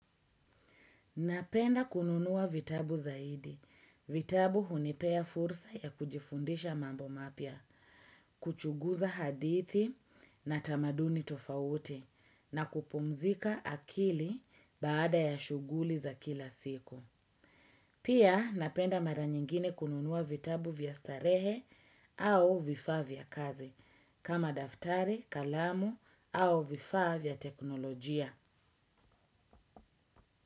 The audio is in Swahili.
Napenda kununua vitabu zaidi. Vitabu hunipea fursa ya kujifundisha mambo mapya, kuchuguza hadithi na tamaduni tofauti na kupumzika akili baada ya shuguli za kila siku. Pia napenda mara nyingine kununua vitabu vya starehe au vifaa vya kazi kama daftari, kalamu au vifaa vya teknolojia.